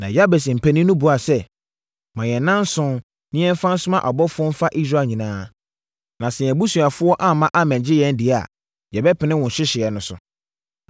Na Yabes mpanin no buaa sɛ, “Ma yɛn nnanson, na yɛmfa nsoma abɔfoɔ mfa Israel nyinaa, na sɛ yɛn abusuafoɔ amma ammɛgye yɛn deɛ a, yɛbɛpene wo nhyehyɛeɛ no so.”